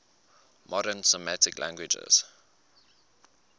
modern semitic languages